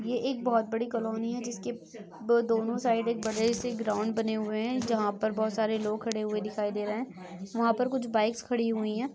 ये एक बहुत बड़ी कॉलोनी है जिसके दोनो साईड बड़े ग्राउंड बने हुए है जहा पे बहुत सारे लोग खड़े हुए दिखाई दे रहे है वहाँ पे कुछ बाइक्स खड़ी हुई है।